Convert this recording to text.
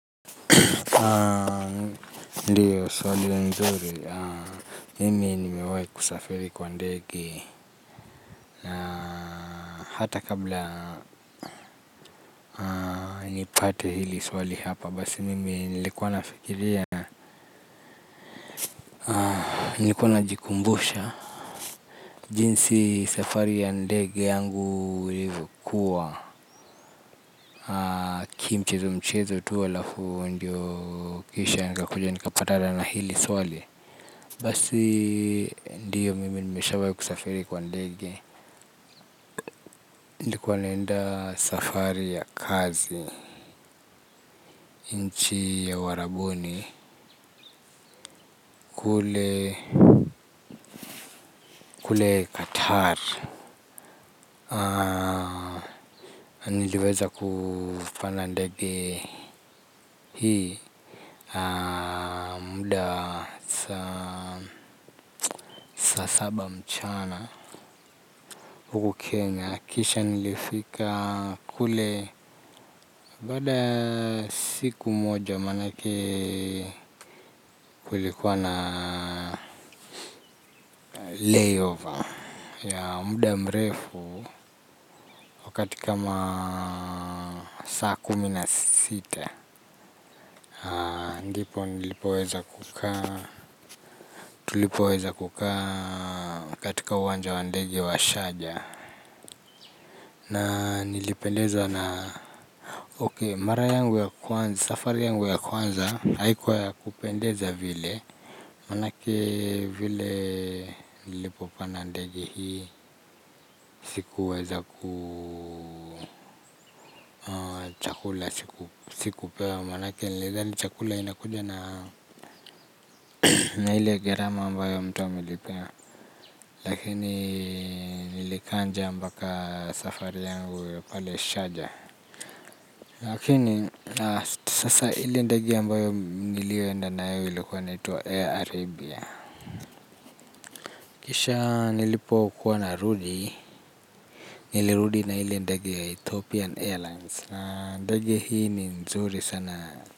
Ndiyo swali nzuri, mimi nimewai kusafiri kwa ndege na hata kabla nipate hili swali hapa basi mimi nilikuwa nafikiria. Nikuwa najikumbusha, jinsi safari ya ndege yangu ilikuwa, kimchezo mchezo tu alafu ndiyo kisha nika kuja nika patana na hili swali. Basi ndiyo mimi nimeshawahi kusafiri kwa ndege. Nilikuwa naenda safari ya kazi nchi wa uwarabuni kule qatar. Niliweza kufana ndege hii. Muda sa saba mchana huku kenya kisha nilifika kule. Bada siku moja manake kulikuwa na lay over ya muda mrefu. Wakati kama saa kuminasita. Andipo nilipoweza kuka tulipoweza kuka katika wanja wandegi wa shaja. Na nilipendezwa na mara yangu ya kwanza safari yangu ya kwanza haikuwa ya kupendeza vile. Manake vile nilipo panda ndege hii sikuweza ku chakula sikupewa manake nilidhani chakula inakuja na na hili ya gerama ambayo mtu amelipia lakini nilikaa njaa mbaka safari yangu ya pale shaja lakini sasa hili ndege ambayo nilioenda na hili kuwa na itwa air arabia kisha nilipokuwa na rudi nilirudi na hili ndege ya ethopian airlines ndege hii ni nzuri sana na.